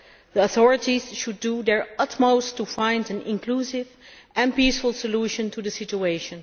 The authorities should do their utmost to find an inclusive and peaceful solution to the situation.